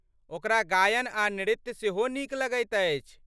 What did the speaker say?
ओकरा गायन आ नृत्य सेहो नीक लगैत अछि।